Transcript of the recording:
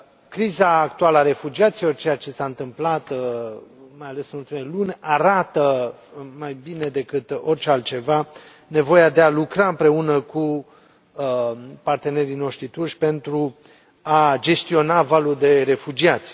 Criza actuală a refugiaților, ceea ce s a întâmplat, mai ales în ultimele luni, arată mai bine decât orice altceva nevoia de a lucra împreună cu partenerii noștri turci pentru a gestiona valul de refugiați.